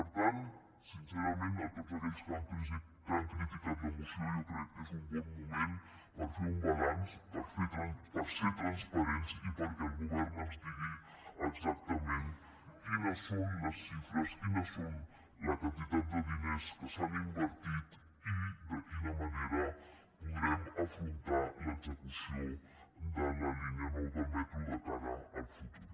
per tant sincerament a tots aquells que han criticat la moció jo crec que és un bon moment per fer un balanç per ser transparents i perquè el govern ens digui exactament quines són les xifres quines són les quantitats de diners que s’han invertit i de quina manera podrem afrontar l’execució de la línia nou del metro de cara al futur